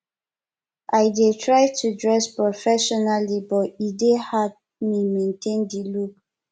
i dey try to dress professionally but e dey hard me maintain di look